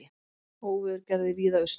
Óveður gerði víða usla